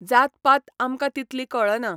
जातपात आमकां तितली कळना.